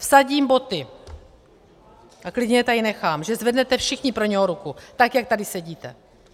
Vsadím boty a klidně je tady nechám, že zvednete všichni pro něj ruku, tak jak tady sedíte.